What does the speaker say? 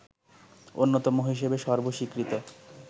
অন্যতম হিসেবে সর্বস্বীকৃত